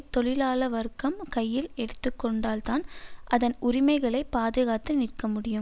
தொழிலாள வர்க்கம் கையில் எடுத்துக்கொண்டால்தான் அதன் உரிமைகளை பாதுகாத்து நிற்க முடியும்